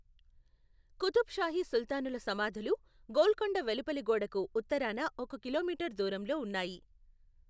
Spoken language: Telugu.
కుతుబ్ షాహీ సుల్తానుల సమాధులు గోల్కొండ వెలుపలి గోడకు ఉత్తరాన ఒక కిలోమీటరు దూరంలో ఉన్నాయి.